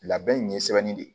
Labɛn in ye sɛbɛnni de